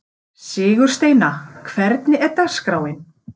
Sigursteina, hvernig er dagskráin?